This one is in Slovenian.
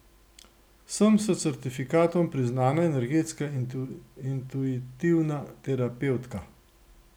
Sem s certifikatom priznana energetska intuitivna terapevtka.